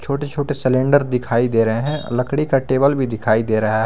छोटे छोटे सिलेंडर दिखाई दे रहे हैं लकड़ी का टेबल भी दिखाई दे रहा है।